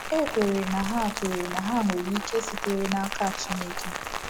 E kweere na ha kweere na ha nwere ike sitere n’aka Chineke.